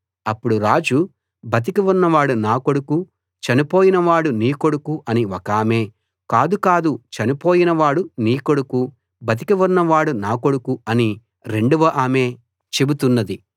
అప్పుడు రాజు బతికి ఉన్నవాడు నా కొడుకు చనిపోయిన వాడు నీ కొడుకు అని ఒకామె కాదు కాదు చనిపోయిన వాడు నీ కొడుకు బతికి ఉన్నవాడు నా కొడుకు అని రెండవ ఆమె చెబుతున్నది